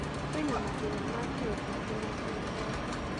Kwĩna mathĩna ma kĩũteti na kĩũtonga.